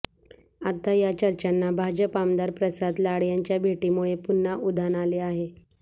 आता या चर्चंना भाजप आमदार प्रसाद लाड यांच्या भेटीमुळे पुन्हा उधाण आले आहे